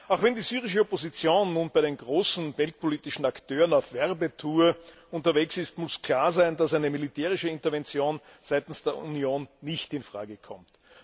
Auch wenn die syrische Opposition nun bei den großen weltpolitischen Akteuren auf Werbetour unterwegs ist, muss klar sein, dass eine militärische Intervention seitens der Union nicht in Frage kommt.